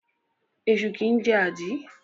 Esu kìí jẹ́ àdí.